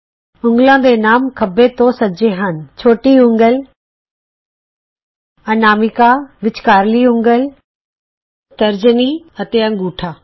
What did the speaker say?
ਉਂਗਲਾਂ ਦੇ ਨਾਮ ਖੱਬੇ ਤੋਂ ਸੱਜੇ ਹਨ ਛੋਟੀ ਉਂਗਲ ਅਨਾਮਿਕਾ ਵਿੱਚਕਾਰਲੀ ਉਂਗਲ ਤਰਜਨੀ ਅਤੇ ਅੰਗੂਠਾ